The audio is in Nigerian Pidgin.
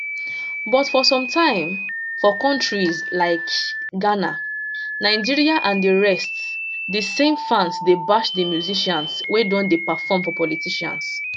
but for sometime for kontris like ghana nigeria and di rest dis same fans dey bash di musicians wey don dey perform for politicians